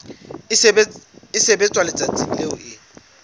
e sebetswa letsatsing leo e